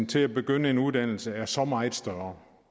til at begynde en uddannelse er så meget større